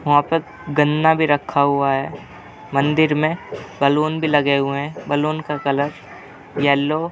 वहा पे गन्ना भी रखा हुआ है मंदिर मे बलून भी लगे हुए हैं। बलून का कलर येलो --